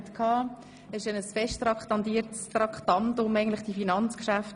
Eigentlich wären die Geschäfte ab Traktandum 46 fest traktandiert gewesen.